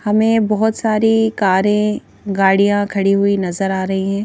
हमें बहुत सारी कारें गाड़ियां खड़ी हुई नजर आ रही हैं।